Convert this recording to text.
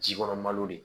Ji kɔnɔbali de